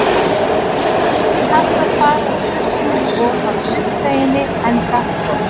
Það var ískalt að fara úr sturtunni og að sundlauginni enda frost.